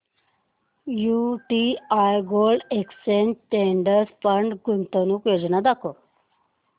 UTI gold exchange traded fund गुंतवणूक योजना दाखव